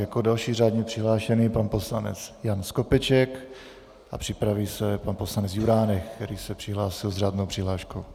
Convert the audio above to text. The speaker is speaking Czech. Jako další řádně přihlášený - pan poslanec Jan Skopeček a připraví se pan poslanec Juránek, který se přihlásil s řádnou přihláškou.